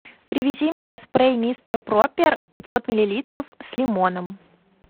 привези мне спрей мистер пропер пятьсот миллилитров с лимоном